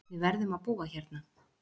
Við verðum að búa hérna